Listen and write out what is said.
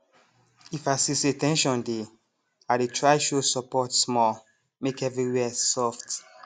if i see say ten sion dey i dey try show support small make everywhere soft